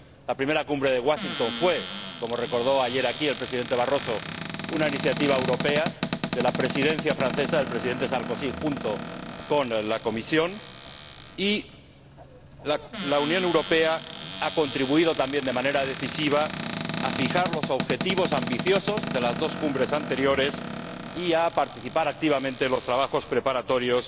La primera Cumbre de Washington fue, como recordó ayer aquí el Presidente Barroso, una iniciativa europea de la Presidencia francesa, del Presidente Sarkozy junto con la Comisión, y la Unión Europea ha contribuido también de manera decisiva a fijar los objetivos ambiciosos de las dos cumbres anteriores y a participar activamente en los trabajos preparatorios